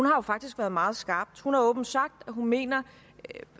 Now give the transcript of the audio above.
har jo faktisk været meget skarp hun har åbent sagt at hun mener at